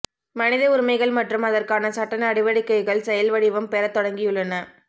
மனித உரிமைகள் மற்றும் அதற்கான சட்ட நடவடிக்ைககள் செயல்வடிவம் பெறத் தொடங்கியுள்ளன